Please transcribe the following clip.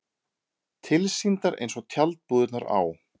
Tilsýndar eins og tjaldbúðirnar á